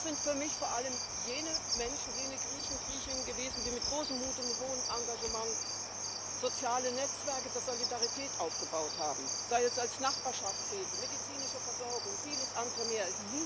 Das sind für mich vor allem jene Menschen, jene Griechinnen und Griechen gewesen, die mit großem Mut und hohem Engagement soziale Netzwerke der Solidarität aufgebaut haben, sei es als Nachbarschaftshilfe, medizinische Versorgung, vieles andere mehr.